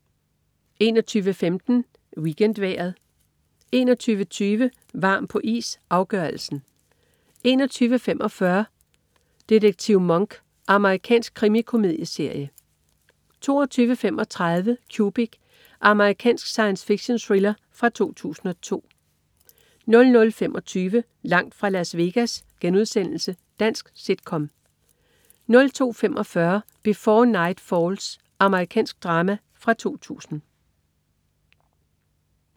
21.15 WeekendVejret 21.20 Varm på is - afgørelsen 21.45 Detektiv Monk. Amerikansk krimikomedieserie 22.35 Cubic. Amerikansk science fiction-thriller fra 2002 00.25 Langt fra Las Vegas.* Dansk sit-com 02.45 Before Night Falls. Amerikansk drama fra 2000